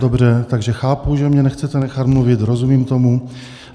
Dobře, takže chápu, že mě nechcete nechat mluvit, rozumím tomu.